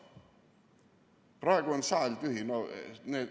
Praegu on saal tühi.